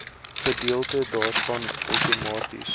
gedeelte daarvan outomaties